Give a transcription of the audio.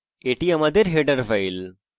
এটি আমাদের header file